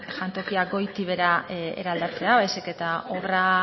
jantokiak goiti behera eraldatzea baizik eta obra